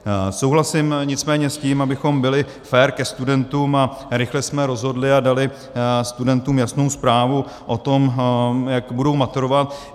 Souhlasím nicméně s tím, abychom byli fér ke studentům a rychle jsme rozhodli a dali studentům jasnou zprávu o tom, jak budou maturovat.